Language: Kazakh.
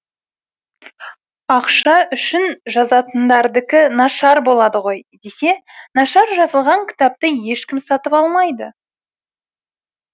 ақша үшін жазатындардікі нашар болады ғой десе нашар жазылған кітапты ешкім сатып алмайды